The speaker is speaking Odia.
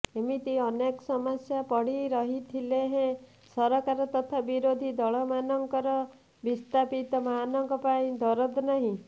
ଏମିତି ଅନେକ ସମସ୍ୟା ପଡ଼ିରହିଥିଲେ ହେଁ ସରକାର ତଥା ବିରୋଧୀ ଦଳମାନଙ୍କର ବିସ୍ଥାପିତମାନଙ୍କ ପାଇଁ ଦରଦ ନାହିଁ